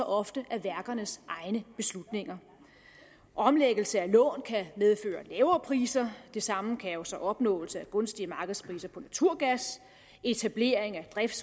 ofte af værkernes egne beslutninger omlæggelse af lån kan medføre lavere priser det samme kan jo så opnåelse af gunstige markedspriser på naturgas etablering af drift